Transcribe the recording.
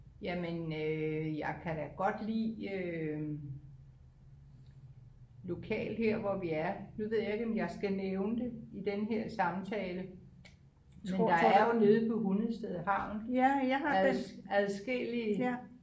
Jamen øh jeg kan da godt lide øh lokalt her hvor vi er nu ved jeg ikke om jeg skal nævne det i den her samtale men der er jo nede på Hundested havn adskillige